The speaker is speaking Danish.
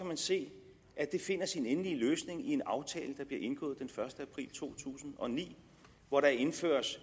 man se at det finder sin endelige løsning i en aftale der bliver indgået den første april to tusind og ni hvor der indføres